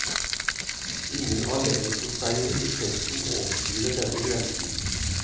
Ingen av leverposteiene i testen overskrider denne grensen.